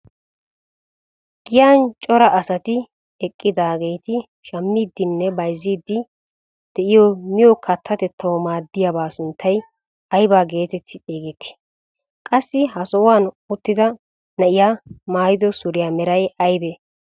Giyaan cora asati eqqidaageti shammiidinne bayzziidi de'iyoo miyiyoo kaattatettawu maaddiyaaba sunttay ayba getetti xeegettii? Qassi ha sohuwaan uttida na'iyaa maayido suriyaa meray aybee?